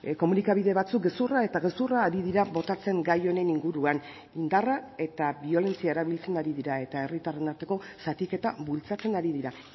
komunikabide batzuk gezurra eta gezurra ari dira botatzen gai honen inguruan indarra eta biolentzia erabiltzen ari dira eta herritarren arteko zatiketa bultzatzen ari dira